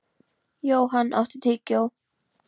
Johan, áttu tyggjó?